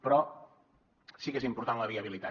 però sí que és important la viabilitat